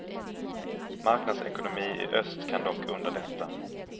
Marknadsekonomi i öst kan dock underlätta.